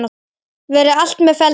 Verði allt með felldu.